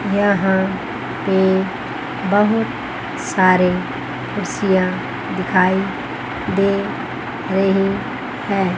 यहां पे बहुत सारे कुर्सियां दिखाई दे रही हैं।